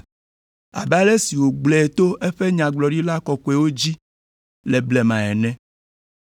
(abe ale si wògblɔe to eƒe Nyagblɔɖila kɔkɔewo dzi le blema ene),